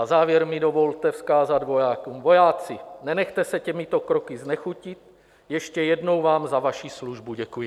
Na závěr mi dovolte vzkázat vojákům: Vojáci, nenechte se těmito kroky znechutit, ještě jednou vám za vaši službu děkuji.